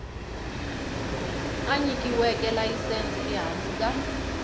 a nyikiweke layisense ehansi ka